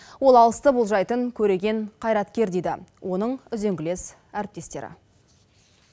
ол алысты болжайтын көреген қайраткер дейді оның үзеңгілес әріптестері